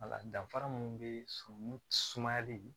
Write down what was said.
Wala danfara minnu be surun sumalen